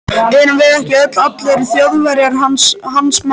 Erum við ekki öll, allir Þjóðverjar, hans menn.